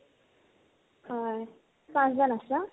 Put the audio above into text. হয় পাঁছজন আছা?